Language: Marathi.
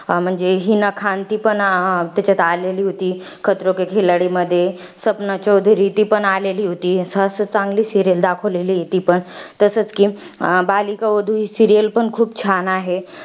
म्हणजे हिना खान. ती पण त्याच्यात आलेली होती. मध्ये. सपना चोधरी ती पण आली होती. सहसा चांगली serial दाखवलेली आहे ती पण. तसच कि बालिका वधू ही serial पण खूप छान आहे.